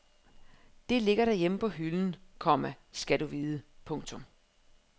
Det ligger derhjemme på hylden, komma skal du vide. punktum